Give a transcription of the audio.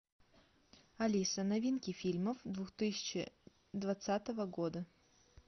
алиса новинки фильмо двухтысячи двадцатого года